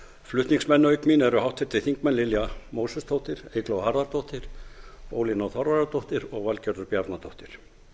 flutningsmenn auk mín eru háttvirtir þingmenn lilja mósesdóttir eygló harðardóttir ólína þorvarðardóttir og valgerður bjarnadóttir